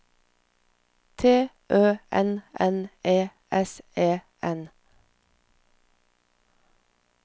T Ø N N E S E N